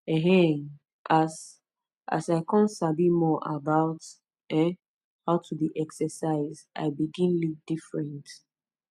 um as as i come sabi more about um how to dey exercise i begin live different